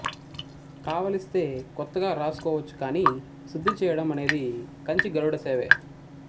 కావలిస్తే కొత్తగా రాసుకోవచ్చు కాని శుద్ధి చెయ్యడం అనేది కంచి గరుడ సేవే